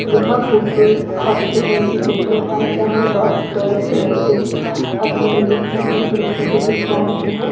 यह फोटो एक हॉस्पिटल की फोटो है जहां डॉक्टर्स नर्सेज अपनी यूनिफॉर्म में खड़े फोटो खिंचवा रहे हैं।